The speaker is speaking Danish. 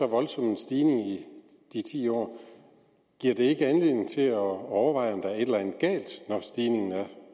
voldsom stigning i de ti år giver det ikke anledning til at overveje om der er et eller andet galt når stigningen er